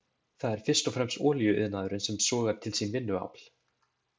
Það er fyrst og fremst olíuiðnaðurinn sem sogar til sín vinnuafl.